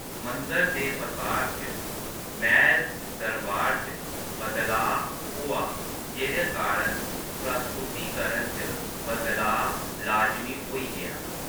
मंदर दे पसार च महल दरबार च बदलाऽ होआ जेह्दे कारण प्रस्तुतिकरण च बदलाऽ लाजमी होई गेआ।